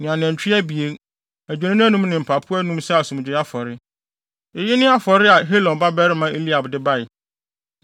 ne anantwi abien, adwennini anum ne mpapo anum sɛ asomdwoe afɔre. Eyi ne afɔre a Helon babarima Eliab de bae.